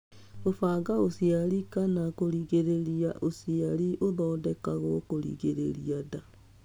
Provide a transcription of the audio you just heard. Gũbanga ũciari kan kũringĩrĩria ũciari ũthodekagwo kũringĩrĩria nda.